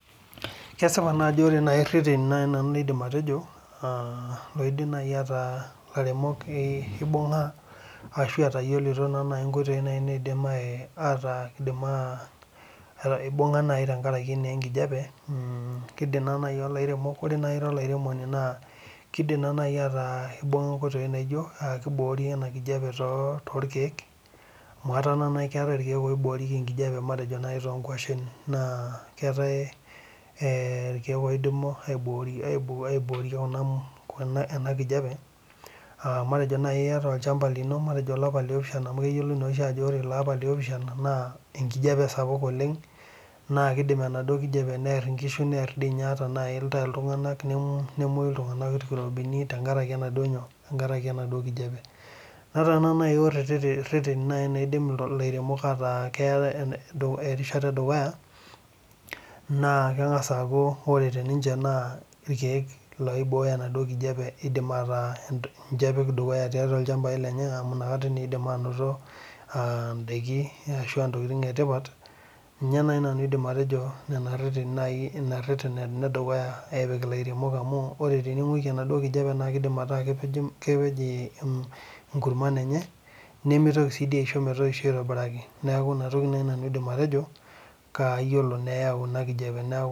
Kesipa naajo kore reteni naai nanu naidim atejo aa loidim naaji ataa lairemok kibooo naa ashu etayiolito naa naai ikoitoi naidim ataa kaidim aa ibunga naai tenkaraki enkijape, keidim naaji ilairemok, ore naai Ira olairemoni naa keidim naai ataa kibunga nkoitoi anaa kiboori enkijape toolkieek, amu etaa naa keetae ilkieek oiboirieki enkijape, matejo naaji too gwashen NAA keetae ilkieek oidimu aiboorie ena kijape, aa matejo naaii iata olshamba lino, matejo olapa le naapishana , amu keyiolo naa ajo kore Ilo apa le naapishana naa enkijape esapuk oleng naa keidim enaduoo kijape neerr inkishu, neer naai intake iltungana nemwayu iltungana irkirobini tenkaraki enaduoo nyoo enaduoo kijape, netaa naaduuo ketii reteni naidim ilairemok ataa keeta erishata edukuya, naa kengas aaku kore tenishe naa ilkieek loiboyo enaduoo kijape idim ataa ninche epik dukuyaa tiatua ilshambaii lenye amu nakata naa idim anoto idaikin ashua ntokitin etipat, ninye naai nanu adim atejo irereteni naidim atipik ilairemok amuu ore tenigwiki enaduoo kijape naa keidim ataa kepej irkumani enye nemitoki aisho metoisho, neeku ina toki naai nanu adim atejo, kayiolo neeyau ina kijape.